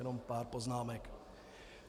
Jenom pár poznámek.